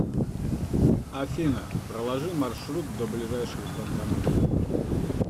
афина проложи маршрут до ближайших банкоматов